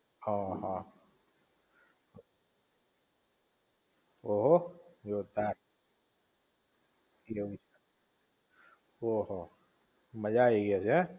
હા હા ઓહો! જોરદાર. હમ્મ ઓહો મજા આવી ગઈ હશે હે.